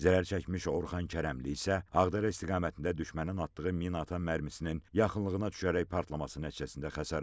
Zərərçəkmiş Orxan Kərəmli isə Ağdərə istiqamətində düşmənin atdığı minaatan mərmisinin yaxınlığına düşərək partlaması nəticəsində xəsarət alıb.